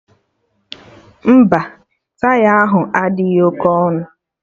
Mba, taya ahụ adịghị oké ọnụ